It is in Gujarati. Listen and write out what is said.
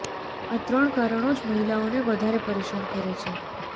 આ ત્રણ કારણો જ મહિલાઓને વધારે પરેશાન કરે છે